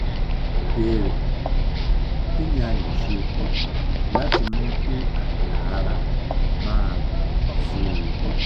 ìbéèrè: kí ni a lè ṣe láti mú kí àyà ara máa gùn sí i?